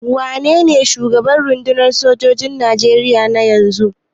Wanene shugaban rundunar sojojin Nigeria na yanzu?